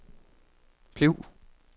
bliv